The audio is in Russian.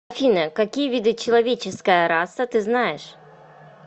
афина какие виды человеческая раса ты знаешь